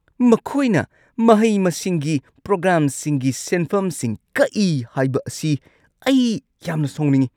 ꯃꯈꯣꯏꯅ ꯃꯍꯩ-ꯃꯁꯤꯡꯒꯤ ꯄ꯭ꯔꯣꯒ꯭ꯔꯥꯝꯁꯤꯡꯒꯤ ꯁꯦꯟꯐꯝꯁꯤꯡ ꯀꯛꯏ ꯍꯥꯏꯕ ꯑꯁꯤ ꯑꯩ ꯌꯥꯝꯅ ꯁꯥꯎꯅꯤꯡꯉꯤ ꯫